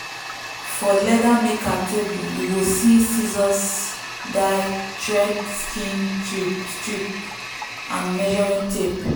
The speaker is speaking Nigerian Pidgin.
for leather maker table you go see scissors dye thread skin strip and measuring tape.